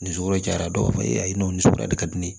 Ni sogo jara dɔw b'a fɔ ayi n'o ni sugu ya de ka di ne ye